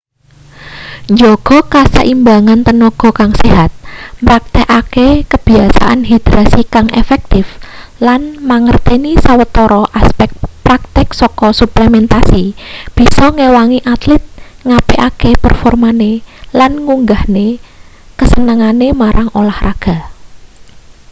njaga kaseimbangan tenaga kang sehat mraktekake kebiasaan hidrasi kang efektif lan mangerteni sawetara aspek praktek saka suplementasi bisa ngewangi atlit ngapikake performane lan ngunggahne kasenengane marang olahraga